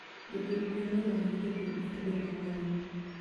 Jopith gwen noromo gi jopidh atudo kawuono